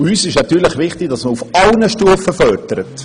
Es ist wichtig, dass man auf allen Stufen fördert.